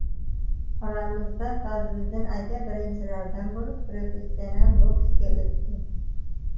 Oramizda Fazliddin aka birinchilardan bo‘lib professional boksga o‘tdi.